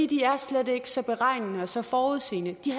de er slet ikke så beregnende og så forudseende de